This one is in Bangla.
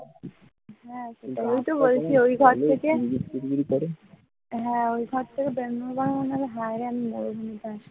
হ্যাঁ ওই ঘর থেকে বেরোনোর পরে মনে পরে হায়রে আমি মরুভূমিতে আসলাম।